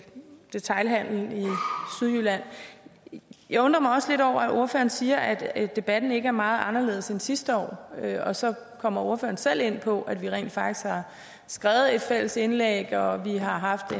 detailhandelen i sydjylland jeg undrer mig også lidt over at ordføreren siger at debatten ikke er meget anderledes end sidste år og så kommer ordføreren selv ind på at vi rent faktisk har skrevet et fælles indlæg og at vi haft